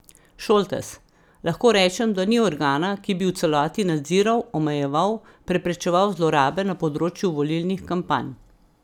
Šoltes: 'Lahko rečem, da ni organa, ki bi v celoti nadziral, omejeval, preprečeval zlorabe na področju volilnih kampanj.